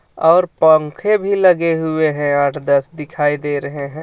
और पंखे भी लगे हुए हैं आठ दस दिखाई दे रहे हैं।